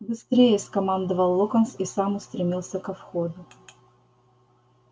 быстрее скомандовал локонс и сам устремился ко входу